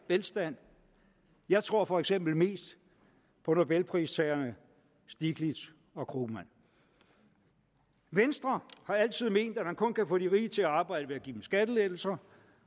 velstand jeg tror for eksempel mest på nobelpristagerne stiglitz og krugman venstre har altid ment at man kun kan få de rige til at arbejde ved at give dem skattelettelser